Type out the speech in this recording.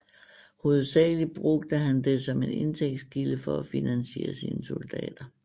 Hovedsagelig brugte han det som en indtægtskilde for at finansiere sine soldater